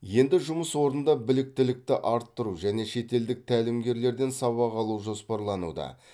енді жұмыс орында біліктілікті арттыру және шетелдік тәлімгерлерден сабақ алу жоспарлануда